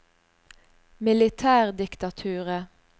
militærdiktaturet